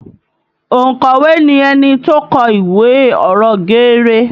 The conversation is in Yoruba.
Ònkọ̀wé ni ẹni tó kọ ìwé ọ̀rọ̀ geere